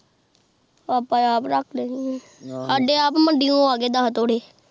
ਆਪ ਆਪ ਰੱਖ ਲੈਣੀ ਆ ਸਾਡੇ ਅੱਪ ਮਾਂਡਿਓ ਆ ਗਏ ਦਸ ਤੋੜੇ